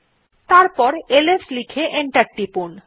তারপর এলএস লিখে এন্টার টিপুন